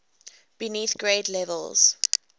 beneath grade levels